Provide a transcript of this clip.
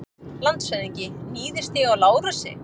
LANDSHÖFÐINGI: Níðist ég á Lárusi?